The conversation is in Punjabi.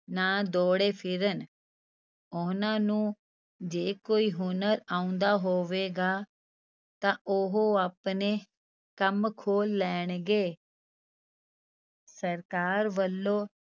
ਨਾ ਦੌੜੇ ਫਿਰਨ, ਉਹਨਾਂ ਨੂੰ ਜੇ ਕੋਈ ਹੁਨਰ ਆਉਂਦਾ ਹੋਵੇਗਾ, ਤਾਂ ਉਹ ਆਪਣੇ ਕੰਮ ਖੋਲ ਲੈਣਗੇ ਸਰਕਾਰ ਵੱਲੋਂ